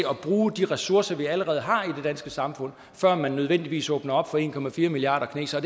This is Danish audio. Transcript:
bruge de ressourcer vi allerede har i det danske samfund før man nødvendigvis åbner op for en milliarder kinesere